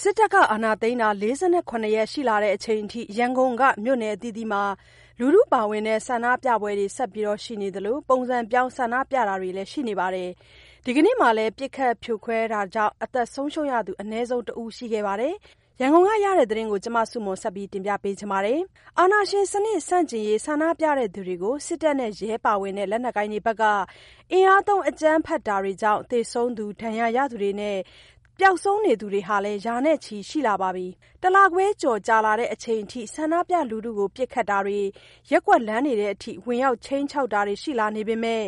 စစ်တပ်အာဏာသိမ်းတာ ၄၇ ရက် ရှိလာချိန်အထိ ရန်ကုန်က မြို့နယ်အသီးသီးမှာ လူထုပါဝင်တဲ့ ဆန္ဒပြပွဲတွေဆက်ရှိနေသလို ပုံစံပြောင်း ဆန္ဒပြတာတွေလည်း ရှိနေပါတယ်။ ဒီကနေ့မှာလည်း ပစ်ခတ် ဖြိုခွဲတာကြာင့် အသက်ဆုံးရှုံးရသူ အနည်းဆုံးတစ်ဦး ရှိခဲ့ပါတယ်။ ရန်ကုန်ကရတဲ့သတင်းကို မဆုမွန်က တင်ပြထားပါတယ်။ အာဏာရှင်စနစ် ဆန့်ကျင်ရေး ဆန္ဒပြသူတွေကို စစ်တပ်နဲ့ ရဲပါဝင်တဲ့ လက်နက်ကိုင်တွေဘက်က အင်အားသုံး အကြမ်းဖက်တာတွေကြောင့် သေဆုံးသူ၊ ဒဏ်ရာရသူတွေနဲ့ ပျောက်ဆုံးနေသူတွေလည်း ရာနဲ့ချီရှိလာပါ ပြီ။ တလခွဲကျော်ကြာလာချိန်အထိ ဆန္ဒပြလူထုကို ပစ်ခတ်တာတွေ၊ ရပ်ကွက်လမ်းတွေထဲထိ ဝင်ရောက် ခြိမ်းခြောက်တာတွေ ရှိလာနေပေမဲ့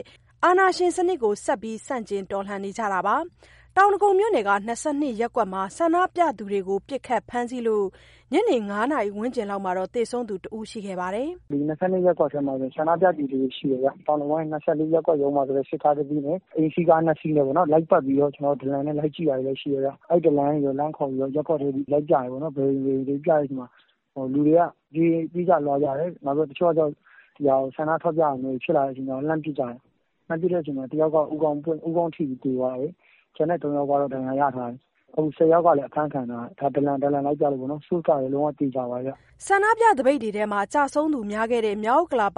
အာဏာရှင်စနစ်ကို ဆက်ပြီး ဆန့်ကျင် တော်လှန်နေကြတာပါ။ တောင်ဒဂုံမြို့နယ်က ၂၂ ရပ်ကွက်မှာ ဆန္ဒပြသူတွေကို ပစ်ခတ်ဖမ်းဆီးလို့ ညနေ ၅ နာရီဝန်းကျင်မှာ သေဆုံးသူတဦးရှိခဲ့ပါတယ်။ "ဒီ ၂၂ ရပ်ကွက်ထဲမှာ ဆန္ဒပြသူတွေရှိတယ်ဗျ။ တောင်ဒဂုံ ၂၄ ရပ်ကွက်ကနေ စစ်ကားတစီးနဲ့ အိမ်စီးကား၂ စီးနဲ့ လိုက်ပတ်ပြီးတော့ ဒလံနဲ့ လိုက်ကြည့်တာတွေရှိတယ်ဗျ။ အဲဒီ ဒလံကနေလှမ်းခေါ်ပြီးတော့ ရပ်ကွက်တွေထဲ ဘယ်အိမ်တွေဆိုပြီး လိုက်ပြတဲ့အချိန်မှာ လူတွေက ပြေးကြလွှားကြတယ်။ တချို့ကကျတော့ ဆန္ဒပြတာမျိုးတွေ ဖြစ်လာတဲ့အချိန်မှာ လှမ်းပစ်ကြတယ်။ လှမ်းပစ်တဲ့အချိန်မှာ တယောက် ကတော့ ဦးခေါင်းထိပြီး သေသွားတယ်။ ကျန်တဲ့ ၃ယောက်ကတော့ ဒဏ်ရာရသွားတယ်။ ၁၀ ယောက်က လည်း အဖမ်းခံရတယ်။ ဒါ ဒလံလိုက်ပြလို့ပေါ့နော်။ Source ကလည်း လုံးဝသေချာပါတယ်။" ဆန္ဒပြသပိတ်တွေထဲ ကျဆုံးသူများခဲ့တဲ့ မြောက်ဥက္ကလာ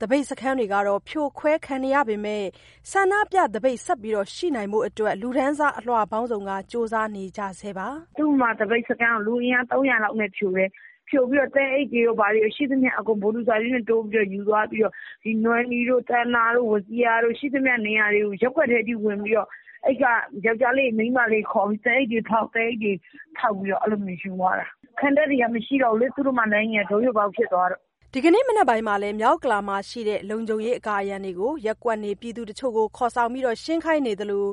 သပိတ်စခန်းတွေကတော့ ဖြိုခွဲခံနေရပေမဲ့ ဆန္ဒပြသပိတ်ဆက်ရှိနိုင်ဖို့အတွက် လူတန်းစားအလွှာပေါင်းစုံက ကြိုးပမ်းနေကြဆဲပါ။ "သုဓမ္မာသပိတ်စခန်းကို လူအင်အား ၃၀၀ လောက်နဲ့ ဖြိုတယ်။ ဖြိုပြီးတော့ သဲအိတ်တွေရော ဘာတွေရော... ရှိသမျှအကုန် ဘူဒိုဇာကြီးနဲ့ထိုးယူသွားပြီးတော့ နွယ်နီတို့၊ သန္တာတို့၊ ဝဇီရာတို့... ရှိသမျှနေရာတွေကို ရပ်ကွက်တွေအထိဝင်ပြီးတော့ အဲဒီက ယောကျ်ားလေးတွေ၊ မိန်းမလေးတွေ ခေါ်ပြီး သဲအိတ်တွေဖောက်ပြီးတော့ ယူသွားတာ။ ခံတပ်တွေက မရှိတော့ဘူးလေ။ သုဓမ္မာလမ်းကြီးက ဒိုးယိုပေါက်ဖြစ်သွားတော့...။" ဒီကနေ့ မနက်ပိုင်းမှာလည်း မြောက်ဥက္ကလာမှာရှိတဲ့ လုံခြုံရေးအကာအရံတွေကို ရပ်ကွက်နေပြည်သူတချို့ ကို ခေါ်ဆောင်ပြီး ရှင်းခိုင်းသလို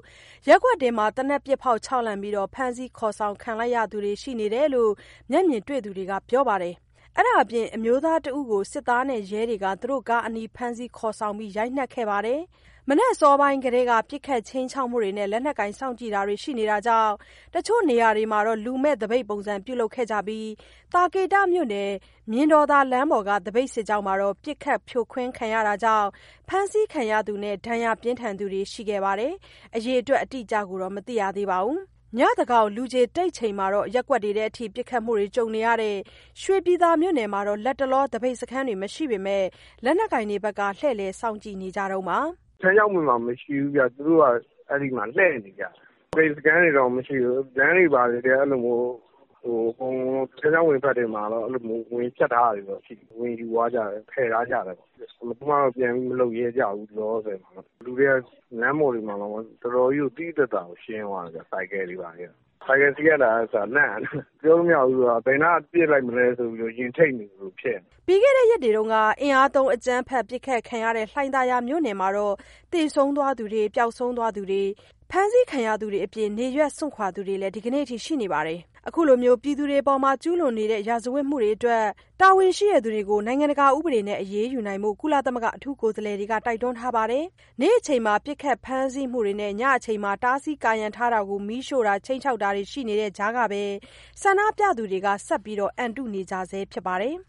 ရပ်ကွက်တွင်း သေနတ်ပစ်ဖောက် ခြောက်လှန့်ပြီး ဖမ်းဆီးခေါ်ဆောင်ခံလိုက်ရသူတွေ ရှိတယ်လို့ မျက်မြင်တွေ့သူတွေက ပြောပါတယ်။ အဲဒါအပြင် အမျိုးသားတဦးကို စစ်သားနဲ့ရဲတွေက သူတို့ကားအနီး ဖမ်းဆီးခေါ်ဆောင်ပြီး ရိုက်နှက်ခဲ့ပါတယ်။ မနက်အစောပိုင်းကတည်းက ပစ်ခတ်ခြိမ်းခြောက်မှုတွေနဲ့ လက်နက်ကိုင်စောင့်ကြည့်တာတွေ ရှိနေတာကြောင့် တချို့နေရာတွေမှာတော့ လူမဲ့သပိတ်ပုံစံ ပြုလုပ်တာတွေ ရှိနေပြီး သာကေတမြို့နယ် မြင်တော်သာလမ်းပေါ်က သပိတ်စစ်ကြောင်းမှာတော့ ပစ်ခတ်ဖြိုခွဲခံခဲ့ရတာကြောင့် ဖမ်းဆီးခံရသူနဲ့ ဒဏ်ရာပြင်းထန်သူတွေလည်း ရှိခဲ့ပါတယ်။ အအေတွက်အတိအကျကိုတော့ မသိရသေးပါဘူး။ ညသန်းခေါင် လူခြေတိတ်ချိန်မှာ ရပ်ကွက်တွေထဲထိ ပစ်ခတ်မှုတွေ ကြုံနေရတဲ့ ရွှေပြည်သာမြို့နယ်မှာတော့ လတ်တလောမှာ သပိတ်စခန်းတွေ မရှိပေမဲ့ လက်နက်ကိုင်တွေဘက်ကတော့ လှည့်လည်စောင့်ကြည့်နေ တုန်းပါ။ "ထန်းခြောက်ပင်မှာ မရှိဘူးဗျ။ သူတို့က အဲဒီမှာလှည့်နေကြတာ။ သပိတ်စခန်းတွေတော့ မရှိဘူး။ လမ်းတွေဘာတွေထဲ ထန်းခြောက်ပင်ဘက်မှာတော့ ကာရံထားတာတွေကိုတော့ ဝင်ယူသွားကြတယ်၊ ဖျက်သွားကြတယ်။ ဘယ်သူမှတော့ ပြန်ပြီးမလုပ်ရဲကြဘူး၊ အခုလောလောဆယ်တော့။ လူတွေက လမ်းပေါ်တွေမှာတောင်မှ တော်တော်ကြီးကို သိသိသာသာ ရှင်းသွားတာဗျ။ ဆိုင်ကယ်စီးရတာကအစ လန့်နေတယ်။ ပြောလို့မရဘူးဆိုတာက ဘယ်နားကပစ်လိုက်မလဲ ဆိုပြီးတော့ ရင်ထိတ်နေသလို ဖြစ်နေတယ်။" ပြီးခဲ့တဲ့ ရက်တွေတုန်းက အင်အားသုံး အကြမ်းဖက်ပစ်ခတ်ခံခဲ့ရတဲ့ လှိုင်သာယာမြို့နယ်မှာတော့ သေဆုံး သွားသူတွေ၊ ပျောက်ဆုံးသူနဲ့ ဖမ်းဆီးခံရသူတွေအပြင် နေရပ်စွန့်ခွာသွားသူတွေ ဒီကနေ့အထိ ရှိနေပါတယ်။ အခုလို ပြည်သူတွေအပေါ် ကျူးလွန်နေတဲ့ ရာဇဝတ်မှုတွေအတွက် တာဝန်ရှိသူတွေကို နိုင်ငံတကာဥပဒေတွေနဲ့အညီ အရေးယူဖို့ ကုလသမဂ္ဂ အထူးကိုယ်စားလှယ်တွေက တိုက်တွန်းထားပါတယ်။ နေ့အချိန်မှာ ပစ်ခတ်ဖမ်းဆီးမှုတွေနဲ့ ညအချိန်မှာ တားဆီးကာရံထားတာတွေကို မီးရှို့တာတွေ၊ ခြိမ်းခြောက် တာတွေ ရှိနေတဲ့ကြားကပဲ ဆန္ဒပြသူတွေက ဆက်ပြီး အန်တုနေကြဆဲဖြစ်ပါတယ်။